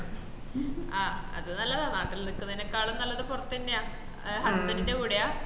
ആഹ് അത് നല്ലതാ നാട്ടിൽ നിക്കന്നക്കാളും നല്ലത് പൊറത്തെന്ന ഹേ husband ന്റെ കൂടെയാ